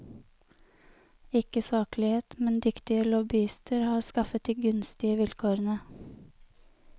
Ikke saklighet, men dyktige lobbyister har skaffet de gunstige vilkårene.